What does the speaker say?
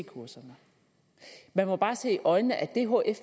kurserne man må bare se i øjnene at det hf